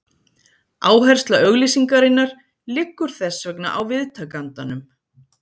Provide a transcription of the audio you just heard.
Áhersla auglýsingarinnar liggur þess vegna á viðtakandanum.